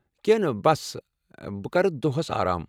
کینٛہہ نہٕ بس بہٕ کرٕ دۄہس آرام ۔